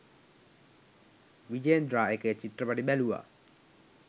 විජේන්ද්‍රා එකේ චිත්‍රපටි බැලුවා.